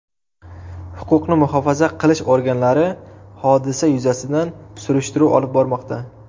Huquqni muhofaza qilish organlari hodisa yuzasidan surishtiruv olib bormoqda.